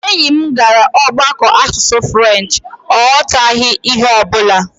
Enyi m gara ọgbakọ asụsụ french, ọ ghọtaghị ihe ọ bụla